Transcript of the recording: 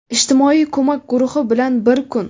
Ijtimoiy ko‘mak guruhi bilan bir kun.